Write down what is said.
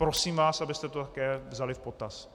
Prosím vás, abyste to také vzali v potaz.